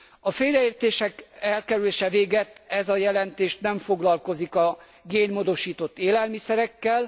A félreértések elkerülése végett ez a jelentés nem foglalkozik a génmódosított élelmiszerekkel.